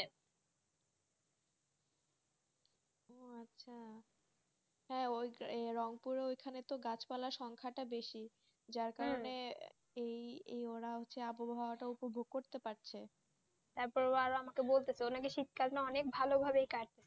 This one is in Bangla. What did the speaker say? হ্যাঁ রঙপুরে ওখানে গাছ পালা সংখ্যাতা বেশি যার কারণে হম ওরা আবহাওয়া তো উপভোগ করতে পারছে শীত কাল অনেক ভালো ভাবে কাটছে